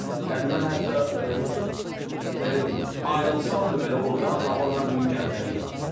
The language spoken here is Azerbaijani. Yəni mən hətta belə deyim, ayrılsam da belə ordan, amma mən bu gün Gəncəliyəm.